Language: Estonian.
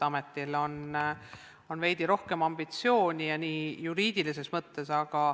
Ametil on veidi rohkem ambitsiooni just juriidilises mõttes.